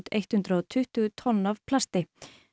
hundruð og tuttugu tonn af plasti